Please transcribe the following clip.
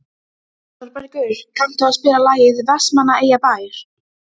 Þorbergur, kanntu að spila lagið „Vestmannaeyjabær“?